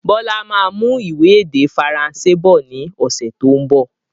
Bọlá máa mú ìwé èdè Faransé bọ̀ ni ọ̀sẹ̀ tó ń bọ̀.